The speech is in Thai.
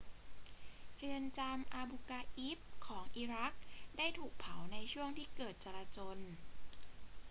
เรือนจำอาบูกราอิบของอิรักได้ถูกเผาในช่วงที่เกิดการจราจล